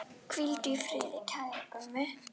Hvíldu í friði, kæri Gummi.